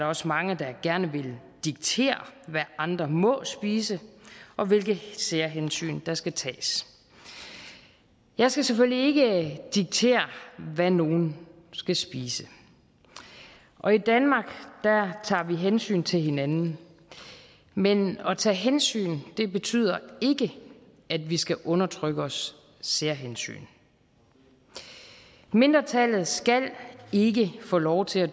også mange der gerne vil diktere hvad andre må spise og hvilke særhensyn der skal tages jeg skal selvfølgelig ikke diktere hvad nogen skal spise og i danmark tager vi hensyn til hinanden men at tage hensyn betyder ikke at vi skal underlægge os særhensyn mindretallet skal ikke få lov til at